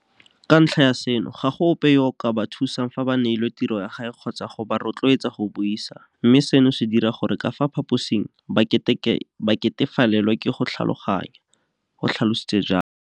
Ka ntlha ya seno, ga go ope yo a ka ba thusang fa ba neilwe tirogae kgotsa go ba rotloeletsa go buisa, mme seno se dira gore ka fa phaposing ba ketefalelwe ke go tlhaloganya, o tlha lositse jalo.